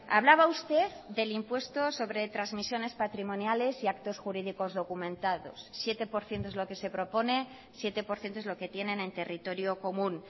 hablaba usted del impuesto sobre transmisiones patrimoniales y actos jurídicos documentados siete por ciento es lo que se propone siete por ciento es lo que tienen en territorio común